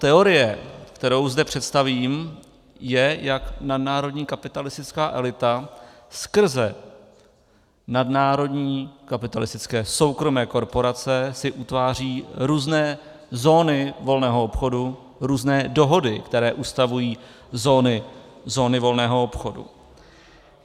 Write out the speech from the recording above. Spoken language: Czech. Teorie, kterou zde představím, je, jak nadnárodní kapitalistická elita skrze nadnárodní kapitalistické soukromé korporace si utváří různé zóny volného obchodu, různé dohody, které ustavují zóny volného obchodu.